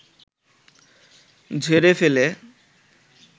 ঝেড়ে ফেলে